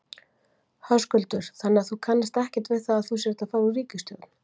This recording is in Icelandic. Höskuldur: Þannig þú kannast ekkert við það að þú sért að fara úr ríkisstjórn?